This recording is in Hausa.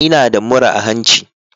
Ina da murra a hanci.